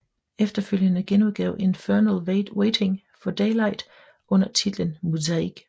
Efterfølgende genudgav Infernal Waiting for Daylight under titlen Muzaik